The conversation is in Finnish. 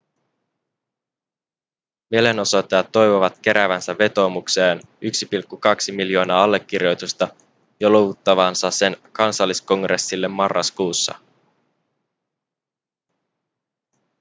mielenosoittajat toivovat keräävänsä vetoomukseen 1,2 miljoonaa allekirjoitusta ja luovuttavansa sen kansalliskongressille marraskuussa